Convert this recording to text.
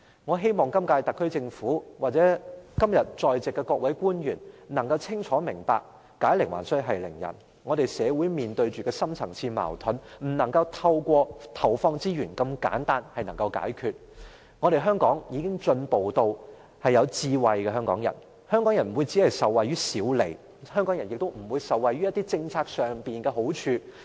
我希望今屆特區政府或今天在席的各位官員能清楚明白解鈴還須繫鈴人，香港社會面對的深層次矛盾不能透過投放資源這麼簡單的方法來解決，香港已進步，香港人擁有智慧，香港人不會只顧受惠於小利，香港人也不會只顧受惠於政策上的好處。